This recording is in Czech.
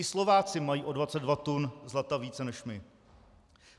I Slováci mají o 22 tun zlata více než my.